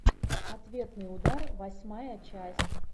ответный удар восьмая часть